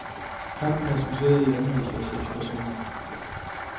Kampen resulterede i anholdelse af seks personer.